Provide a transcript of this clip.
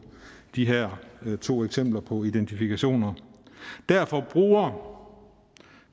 de her to eksempler på identifikation derfor bruger